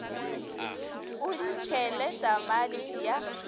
o di tšhele tamati ya